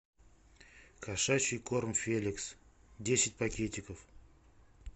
кошачий корм феликс десять пакетиков